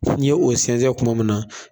Ni ye o sɛnɛn kuma min na